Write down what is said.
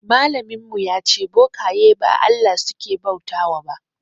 Malamin ya ce bokaye ba Allah suke bauta ba.